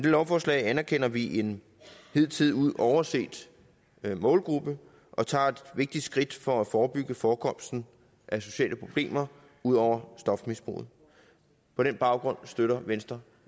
lovforslag anerkender vi en hidtil overset målgruppe og tager et vigtigt skridt for at forebygge forekomsten af sociale problemer ud over stofmisbruget på den baggrund støtter venstre